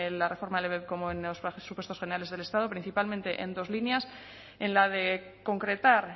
la reforma del ebep como en los presupuestos generales del estado principalmente en dos líneas en la de concretar